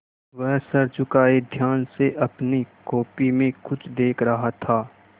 वह सर झुकाये ध्यान से अपनी कॉपी में कुछ देख रहा था